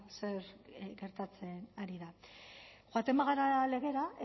zer gertatzen ari da joaten bagara legera